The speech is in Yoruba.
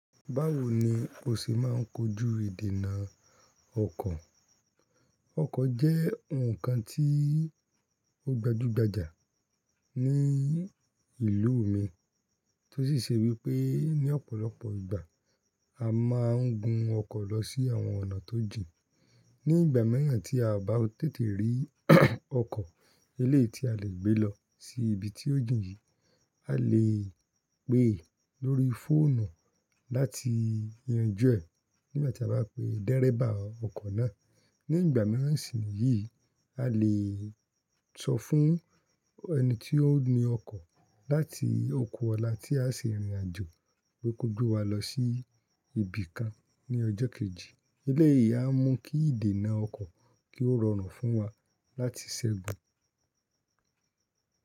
Báwo ni o ṣe máa ń kojú ìdènà ọkọ̀? Ọkọ̀ jẹ́ ohun kan tí ó gbajúgbajà ní ìlú mi tó sì ṣe wípé ní ọ̀pọ̀lọpọ̀ ìgbà a máa ń gun ọkọ̀ lọ sí àwọn ọ̀nà tó jìn. Ní ìgbà miran tí a o bá tètè rí ọkọ̀ elé tí a lè gbé lọ sí ibi tí ó jìn yìí, a lè pè lórí fóònù láti yanjú ẹ̀ nígbà tí a bá pe dẹ́rẹ́bà ọkọ̀ náà. Ní ìgbà miran sì ni yìí, a lè sọ fún ẹni tí ó ní ọkọ̀ láti oku ọlá tí a ṣe ìrìnàjò wípé kó gbé wa lọ sí ibi kan ní ọjọ́ kejì. Eléyìí a mú kí ìdènà ọkọ̀ kí ó rọrùn fún wa láti ṣẹ́gun.